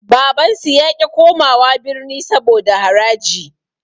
Babansu yaƙi komawa birni saboda haraji.